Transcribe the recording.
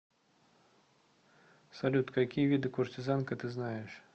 салют какие виды куртизанка ты знаешь